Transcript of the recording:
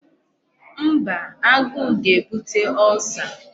Mba, agụụ ga-ebute Ulcer.